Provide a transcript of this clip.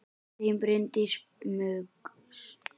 Þín Bryndís Muggs.